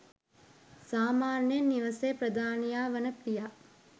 සාමාන්‍යයෙන් නිවෙසේ ප්‍රධානියා වන පියා